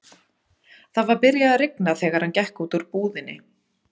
Það var byrjað að rigna þegar hann gekk út úr búðinni.